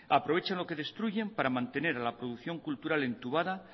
aprovechan lo que destruyen para mantener a la producción cultural entubada